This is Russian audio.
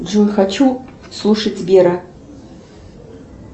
джой хочу слушать вера